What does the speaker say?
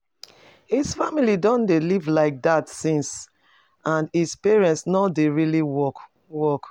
His family don dey live like that since and his parent no dey really work work